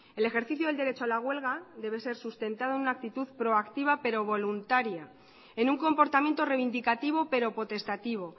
el ejercicio del derecho a la huelga debe ser sustentado en una actitud proactiva pero voluntaria en un comportamiento reivindicativo pero potestativo